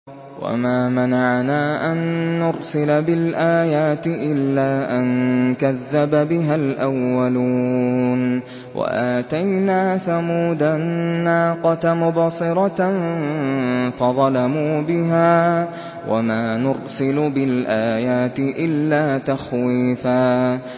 وَمَا مَنَعَنَا أَن نُّرْسِلَ بِالْآيَاتِ إِلَّا أَن كَذَّبَ بِهَا الْأَوَّلُونَ ۚ وَآتَيْنَا ثَمُودَ النَّاقَةَ مُبْصِرَةً فَظَلَمُوا بِهَا ۚ وَمَا نُرْسِلُ بِالْآيَاتِ إِلَّا تَخْوِيفًا